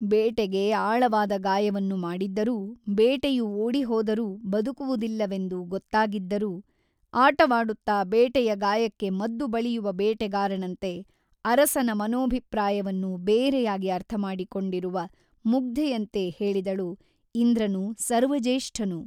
ಬೇಟೆಗೆ ಆಳವಾದ ಗಾಯವನ್ನು ಮಾಡಿದ್ದರೂ ಬೇಟೆಯು ಓಡಿಹೋದರೂ ಬದುಕುವುದಿಲ್ಲವೆಂದು ಗೊತ್ತಾಗಿದ್ದರೂ ಆಟವಾಡುತ್ತ ಬೇಟೆಯ ಗಾಯಕ್ಕೆ ಮದ್ದು ಬಳಿಯುವ ಬೇಟೆಗಾರನಂತೆ ಅರಸನ ಮನೋಭಿಪ್ರಾಯವನ್ನು ಬೇರೆಯಾಗಿ ಅರ್ಥಮಾಡಿಕೊಂಡಿರುವ ಮುಗ್ಧೆಯಂತೆ ಹೇಳಿದಳು ಇಂದ್ರನು ಸರ್ವಜ್ಯೇಷ್ಠನು.